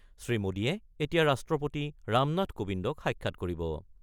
শ্ৰীমোদীয়ে এতিয়া ৰাষ্ট্ৰপতি ৰামনাথ কোবিন্দক সাক্ষাৎ কৰিব।